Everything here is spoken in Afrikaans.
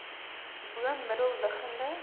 bo middel liggende